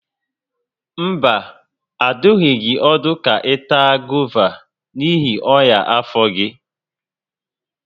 Mba, adụghị gị ọdụ ka ị taa gova n'ihi ọnya afọ gị